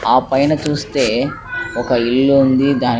ఆ పైన చూస్తే ఒక ఇల్లు ఉంది దాని --